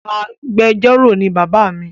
Agbẹjọro ni baba mi